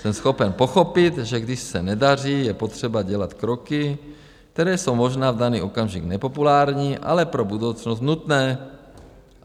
Jsem schopen pochopit, že když se nedaří, je potřeba dělat kroky, které jsou možná v daný okamžik nepopulární, ale pro budoucnost nutné.